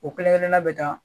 O kelen kelenna bɛ taa